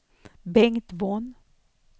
Bengt Von